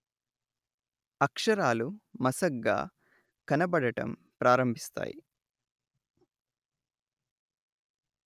అక్షరాలు మసగ్గా కనబడటం ప్రారంభిస్తాయి